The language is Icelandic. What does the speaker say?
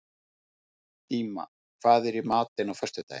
Díma, hvað er í matinn á föstudaginn?